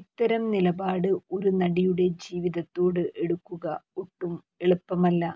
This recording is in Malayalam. ഇത്തരം ഒരു നിലപാട് ഒരു നടിയുടെ ജീവിതത്തോട് എടുക്കുക ഒട്ടും എളുപ്പമല്ല